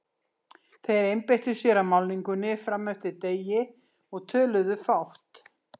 Þeir einbeittu sér að málningunni fram eftir degi og töluðu fátt.